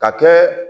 Ka kɛ